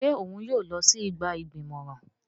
Ṣe òun yóò lọ si igba igbimọran?